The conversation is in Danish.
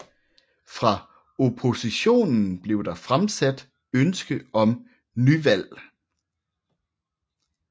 Fra oppositionen blev der fremsat ønske om nyvalg